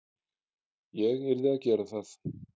Ég yrði að gera það.